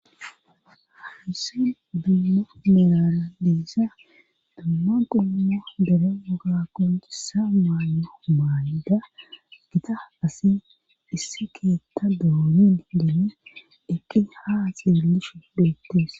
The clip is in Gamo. Hansin bimmo milara deissa damma qumma dere woga konisa maanyo maayda gita asi issi keetta doonen deene dekki ha xeelishu doettees.